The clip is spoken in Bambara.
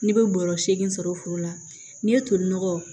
N'i bɛ bɔrɔ segin foro la n'i ye tolinɔgɔ